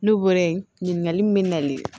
Ne weele ɲininkali min bɛ ne nalen